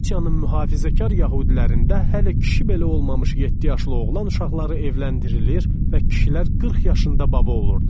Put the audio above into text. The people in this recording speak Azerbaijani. Qalitsiyanın mühafizəkar yəhudilərində hələ kişi belə olmamış yeddi yaşlı oğlan uşaqları evləndirilir və kişilər 40 yaşında baba olurdular.